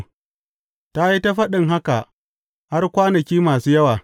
Ta yi ta faɗin haka har kwanaki masu yawa.